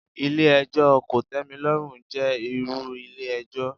Ilé ẹjọ́ kòtẹ́milọ́rùn jẹ́ irú ilé ẹjọ́.